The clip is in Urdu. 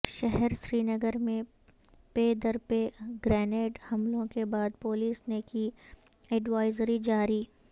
شہر سرینگر میں پے در پے گرینیڈ حملوں کے بعد پولیس نے کی ایڈوائزری جاری